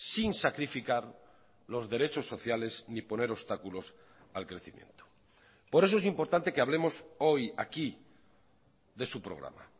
sin sacrificar los derechos sociales ni poner obstáculos al crecimiento por eso es importante que hablemos hoy aquí de su programa